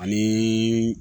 Ani